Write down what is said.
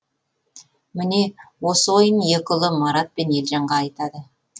міне осы ойын екі ұлы марат пен елжанға айтады